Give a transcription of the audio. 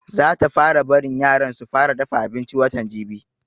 Za ta fara barin yaran su fara dafa abinci watan jibi